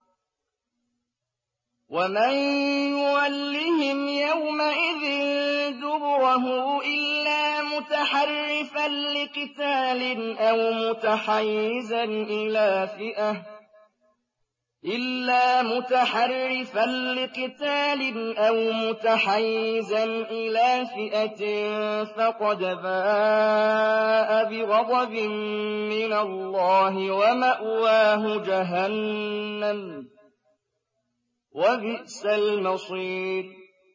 وَمَن يُوَلِّهِمْ يَوْمَئِذٍ دُبُرَهُ إِلَّا مُتَحَرِّفًا لِّقِتَالٍ أَوْ مُتَحَيِّزًا إِلَىٰ فِئَةٍ فَقَدْ بَاءَ بِغَضَبٍ مِّنَ اللَّهِ وَمَأْوَاهُ جَهَنَّمُ ۖ وَبِئْسَ الْمَصِيرُ